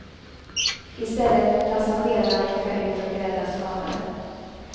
I stället fick passagerarna rycka ut och rädda skadade.